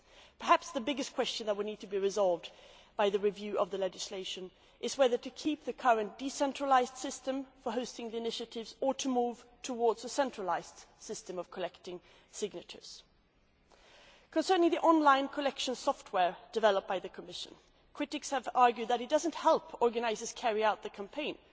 Perhaps the biggest question that will need to be resolved by the review of the legislation is whether to keep the current, decentralised system for the hosting of initiatives or move towards a centralised system of collecting signatures. With regard to the online collection software developed by the Commission, critics have argued that it does not help organisers carry out their campaigns.